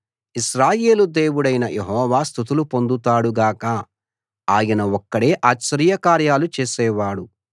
ఇశ్రాయేలు దేవుడైన యెహోవా స్తుతులు పొందుతాడు గాక ఆయన ఒక్కడే ఆశ్చర్యకార్యాలు చేసేవాడు